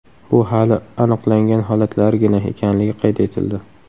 Bu hali aniqlangan holatlargina ekanligi qayd etildi.